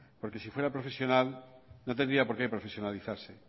porque si fuera profesional no tendría porque profesionalizarse